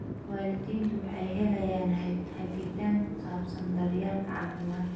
Waalidiintu waxay helaan hagitaan ku saabsan daryeelka caafimaadka.